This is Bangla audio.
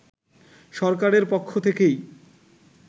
সরকারের পক্ষ থেকেই